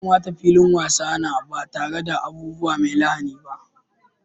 Ya kamata filin wasa na ba tare da abubuwa mai lahani ba.